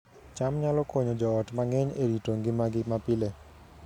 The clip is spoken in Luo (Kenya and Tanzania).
cham nyalo konyo joot mang'eny e rito ngimagi mapile